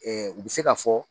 Ɛɛ u bɛ se ka fɔ